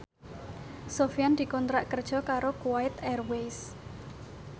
Sofyan dikontrak kerja karo Kuwait Airways